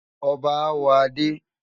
Ọbá á wọ̀ adé.